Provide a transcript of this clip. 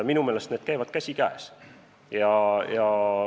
Minu meelest need käivad käsikäes.